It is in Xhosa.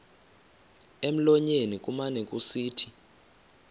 emlonyeni kumane kusithi